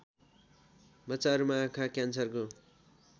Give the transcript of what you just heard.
बच्चाहरूमा आँखा क्यान्सरको